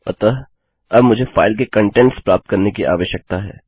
अतःअब मुझे फाइल का कंटेंट्स प्राप्त करने की आवश्यकता है